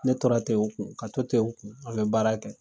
Ne tora ten u kun ka to ten u kun a be baara kɛ